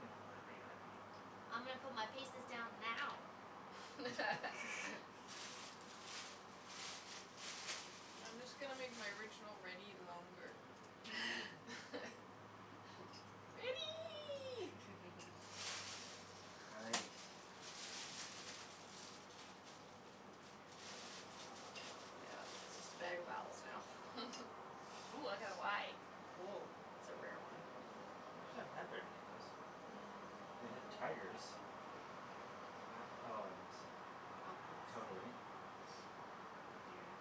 You know ivy, ivy. I'm gonna put my pieces down now. I'm just gonna make my original ready longer. Ready! Hi. Yeah, it's a better vowels now. Ooh, I got a y. Oh, that's a rare one. I actually haven't had very many of those. Mm. I We had wonder why. tigers. Have we had Oh, and totally. Yeah.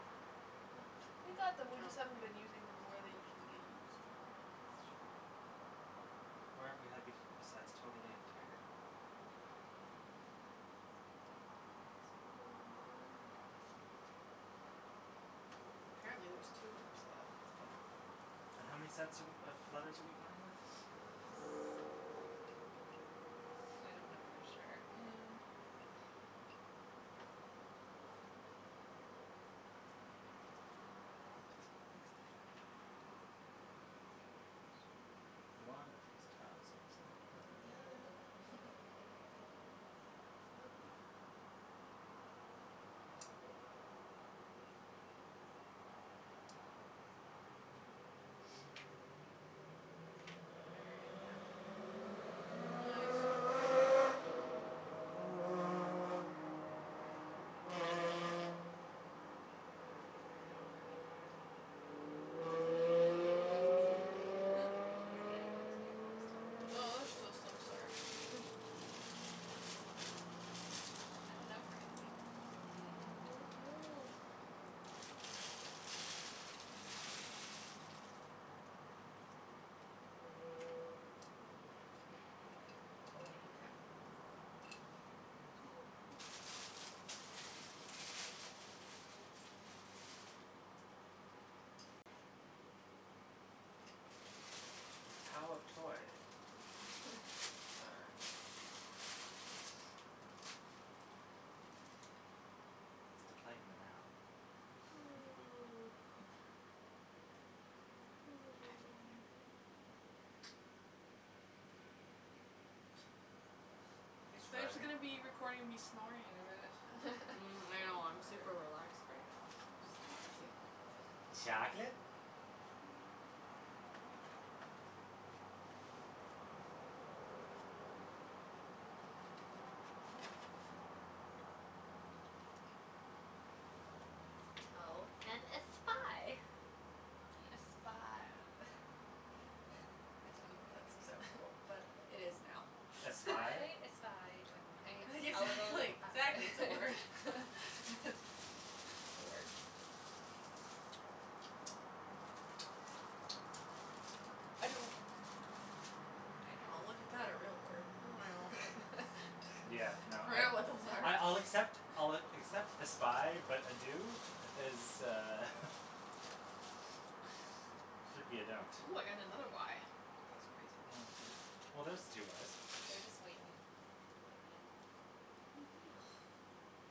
Yeah. We got them, we just Oh, haven't been using them yeah where they usually get used. It's true. Where have we had bef- besides totally and tiger? Don't think there is one. Hmm. Apparently there's two per set, so. Yeah. And how many sets are we of letters are we playing with? Several. I don't know for sure. Mhm. Mm. This kinda looks differently. Yes. One of these tiles is not like The the other. other. Yeah. Completely. Okay. I'm gonna make odour and owee. Nice. Is the bag empty or is it Hmm? still Is the bag empty or are there still Oh, there's letters? still some. Sorry. Hmm. I don't know if we're gonna make it through all of these, man. Don't know. Mm. Toe and tao. Cool. The tao of toy. Sure. Is the play in the now. You They're just surviving? gonna be recording me snoring in a minute. Mm. I So know. I'm super tired. relaxed right now. So sleepy. It's like Chocolate? Tao and a spy. A Nice. spy. I don't know if that's exact but it is now. Espie? I espy when my a little Exactly, exactly, it's a eye. word. It's a word. I do. Oh, look at Very nice. that. A real word. I know. Yeah, no, I I I'll accept I'll accept espie, but ado is uh should be a don't. Ooh, I got another y. That's crazy. Oh, well, there's the two y's. They're just waiting to put the end in. Mhm. Oh.